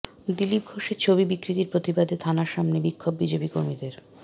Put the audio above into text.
দিলীপ ঘোষের ছবি বিকৃতির প্রতিবাদে থানার সামনে বিক্ষোভ বিজেপি কর্মীদের